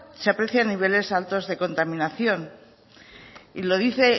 se aprecian niveles altos de contaminación y lo dice